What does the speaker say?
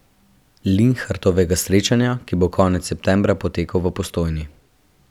Linhartovega srečanja, ki bo konec septembra potekal v Postojni.